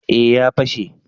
eh ya fashe